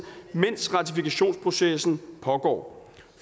mens ratifikationsprocessen pågår